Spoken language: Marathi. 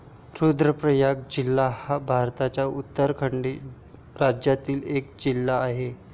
रुद्रप्रयाग जिल्हा हा भारताच्या उत्तराखंड राज्यातिल एक जिल्हा आहे.